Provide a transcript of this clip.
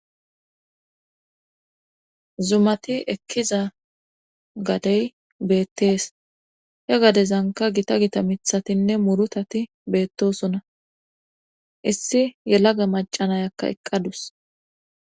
zumati ekkiza gadey beettees he gadezanka gita gita mithatinne murutati beettosona issi yelaga macanayakka eqqadus